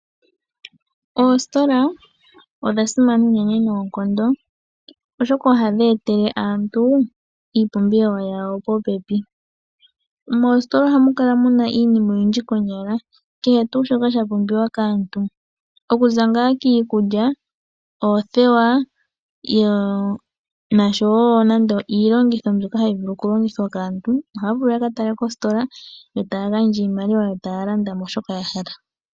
Oositola odhasimana unene noonkondo oshoka ohadhi etele aantu iipumbiwa yawo popepi. Moositola ohamukala iinima oyindji konyala kehe tuu shoka shapumbiwa kaantu okuza ngaa kiikulya, oothewa nosho woo iilongitho ndjono hayivulu okulongithwa kaantu ohaavulu yakatale kositola yotaagandja iimaliwa yotaalanda shoka yahala.